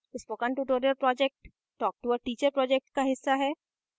spoken tutorial project talktoa teacher project का हिस्सा है